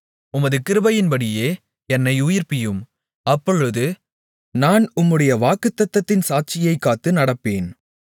உமது கிருபையின்படியே என்னை உயிர்ப்பியும் அப்பொழுது நான் உம்முடைய வாக்குத்தத்தத்தின் சாட்சியைக் காத்து நடப்பேன்